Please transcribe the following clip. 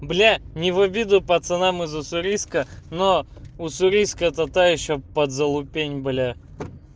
бля не в обиду пацанам из уссурийска но уссурийск это та ещё подзалупень бля